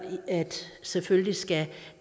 at selvfølgelig skal